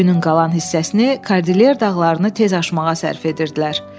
Günün qalan hissəsini Kordilyer dağlarını tez aşmağa sərf edirdilər.